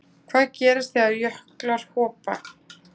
hvað gerist þegar jöklar hopa